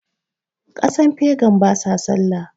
kasan fegan ba sa sallah